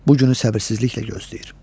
Bu günü səbirsizliklə gözləyir.